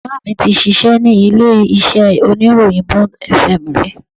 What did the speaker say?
Bàbá mi tí ṣíṣe ní ilé iṣẹ́ oníròyìn Bond FM rí